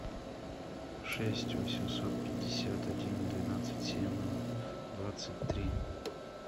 шесть восемьсот пятьдесят один двенадцать семь двадцать три